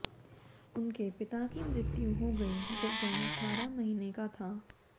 उनके पिता की मृत्यु हो गई जब वह अठारह महीने का था